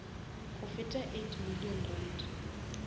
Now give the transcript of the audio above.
go feta eight million rand